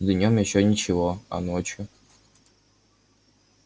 днём ещё ничего а ночью